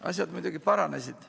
Asjad muidugi paranesid.